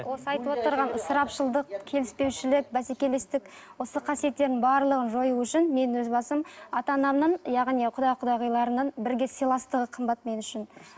осы айтып отырған ысырапшылдық келіспеушілік бәсекелестік осы қасиеттердің барлығын жою үшін мен өз басым ата анамның яғни құда құдағиларының бірге сыйластығы қымбат мен үшін